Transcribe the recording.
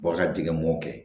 Bɔ ka jigin mɔw kɛ